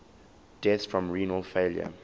deaths from renal failure